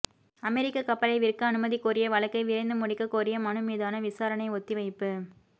அமெரிக்க கப்பலை விற்க அனுமதி கோரிய வழக்கை விரைந்து முடிக்கக் கோரிய மனு மீதான விசாரணை ஒத்திவைப்பு